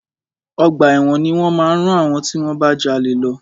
Ọgbà ẹ̀wọ̀n ni wọ́n máa rán àwọn tí wọ́n bá jalè lọ.